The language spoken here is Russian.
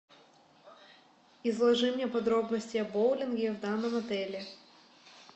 изложи мне подробности о боулинге в данном отеле